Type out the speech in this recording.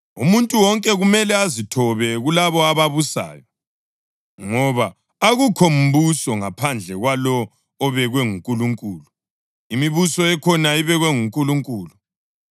Umuntu wonke kumele azithobe kulabo ababusayo, ngoba akukho mbuso ngaphandle kwalowo obekwe nguNkulunkulu. Imibuso ekhona ibekwe nguNkulunkulu.